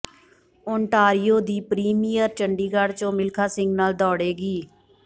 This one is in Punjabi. ਓਨਟਾਰੀਓ ਦੀ ਪ੍ਰੀਮੀਅਰ ਚੰਡੀਗੜ੍ਹ ਚ ਮਿਲਖਾ ਸਿੰਘ ਨਾਲ ਦੌੜੇਗੀ